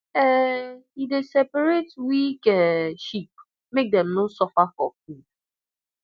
um he dey separate weak um sheep make dem no suffer for food